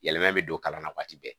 Yɛlɛma bɛ don kalan na waati bɛɛ